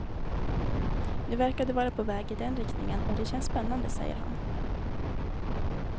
Nu verkar det vara på väg i den riktningen och det känns spännande, säger han.